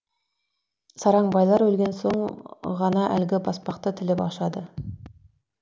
сараң байлар өлген соң ғана әлгі баспақты тіліп ашады